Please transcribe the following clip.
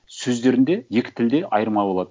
сөздерінде екі тілде айырма болады